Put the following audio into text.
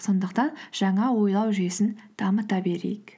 сондықтан жаңа ойлау жүйесін дамыта берейік